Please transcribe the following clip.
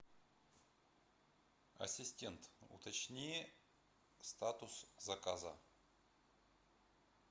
ассистент уточни статус заказа